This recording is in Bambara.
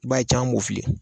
I b'a ye caman b'o filɛ